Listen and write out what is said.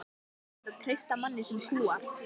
Er hægt að treysta manni sem púar?